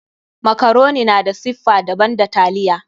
Makaroni na da siffa daban da taliya.